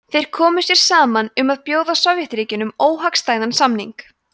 þeir komu sér saman um að bjóða sovétríkjunum óhagstæðan samning